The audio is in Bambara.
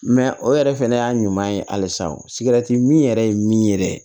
Mɛ o yɛrɛ fɛnɛ y'a ɲuman ye halisa min yɛrɛ ye min yɛrɛ ye